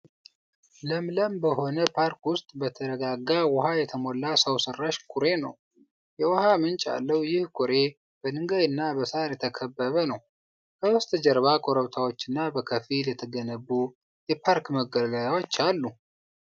ለምለም በሆነ ፓርክ ውስጥ በተረጋጋ ውሃ የተሞላ ሰው ሰራሽ ኩሬ ነው። የውሃ ምንጭ ያለው ይህ ኩሬ፣ በድንጋይና በሣር የተከበበ ነው፣ ከበስተጀርባ ኮረብታዎችና በከፊል የተገነቡ የፓርክ መገልገያዎችም አሉ።